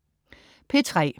P3: